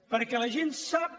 perquè la gent sap